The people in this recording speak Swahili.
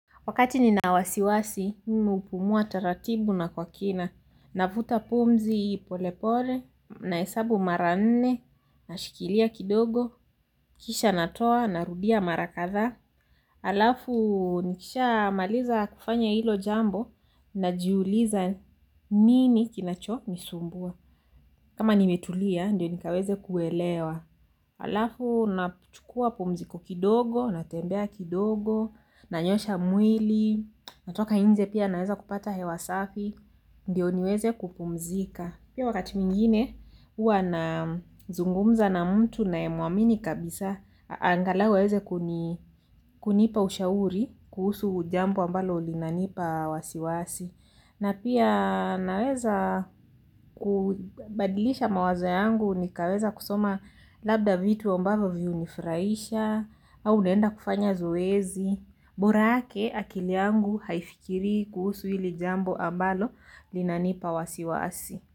Wakati nina wasiwasi, mimi hupumua taratibu na kwa kina. Navuta pumzi pole pole, na hesabu mara nne, na shikilia kidogo, kisha natoa, narudia mara kadhaa alafu, nikisha maliza kufanya hilo jambo, na jiuliza nini kinacho nisumbua. Kama nimetulia, ndio nikaweze kuelewa. Halafu nachukua pumziko kidogo, natembea kidogo, nanyosoha mwili, natoka nje pia naweza kupata hewa safi, ndio niweze kupumzika. Pia wakati mwingine huwa na zungumza na mtu naye muamini kabisa, angalau aweze kunipa ushauri, kuhusu jambo ambalo linanipa wasiwasi. Na pia naweza kubadilisha mawazo yangu ni kaweza kusoma labda vitu ambavyo vi hunifurahisha au naenda kufanya zoezi. Borake akili yangu haifikiri kuhusu hili jambo ambalo linanipa wasi wasi.